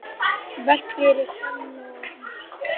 Verk fyrir selló og píanó.